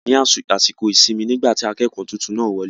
A wà ní àsìkò ìsinmi nígbà tí akẹ́kọ̀ọ́ tuntun náà wọ lé